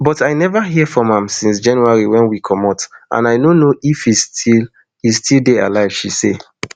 but i neva hear from am since january wen we comot and i no know if e still e still dey alive she say